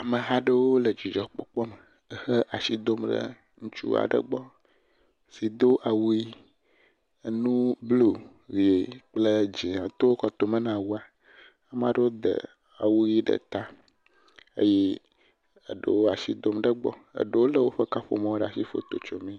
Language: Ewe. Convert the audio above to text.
Ameha aɖewo le dzidzɔkpɔkpɔ me ehe asi dom ɖe ŋutsu aɖe gbɔ si do awu ʋi enu blu, ʋi kple dzia to kɔtome na awua. Ame aɖewo de awu ʋi ɖe ta eye eɖewo asi dom ɖe egbɔ, eɖewo le woƒe kaƒomɔwo ɖe asi foto tso mee.